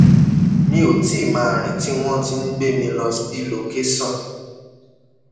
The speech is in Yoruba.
mi ò tí ì máa rìn tí wọn ti ń gbé mi lọ sí lọkẹsàn